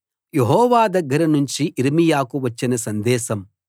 యెహోవా దగ్గర నుంచి యిర్మీయాకు వచ్చిన సందేశం